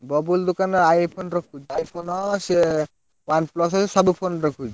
ବବୁଲ୍ ଦୋକାନରେ iPhone ରଖୁଛି iPhone ସିଏ OnePlus ସବୁ phone ରଖୁଛି।